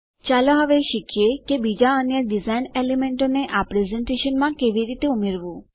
ચાલો હવે શીખીએ કે બીજાં અન્ય ડીઝાઇન એલેમેંટો ને આ પ્રેઝેંટેશનમાં કેવી રીતે ઉમેરવું